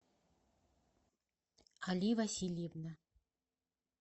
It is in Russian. али васильевна